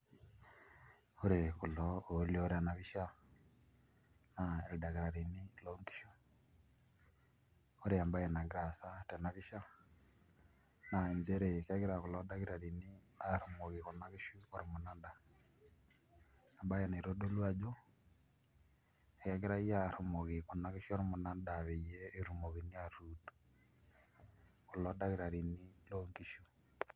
Ore kulo oolioo tena pisha naa ildakitarini loonkishu ore embaye nagira aasa tena pisha naa nchere kegira kulo dakitarini aarumoki kuna kishu ormunada embaye naitodolu ajo kegirai aarrumoki kuna kishu ormunada peyie etumokini aatuud kulo dakitarini loonkishu.